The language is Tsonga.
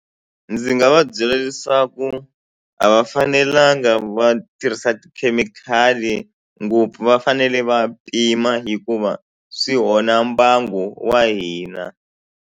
Ndzi nga va byela leswaku a va fanelanga va tirhisa tikhemikhali ngopfu va fanele va pima hikuva swi onha mbangu wa hina.